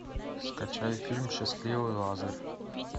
скачай фильм счастливый лазарь